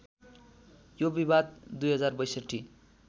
यो विवाद २०६२